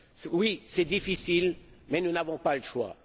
Oui, c'est difficile, mais nous n'avons pas le choix.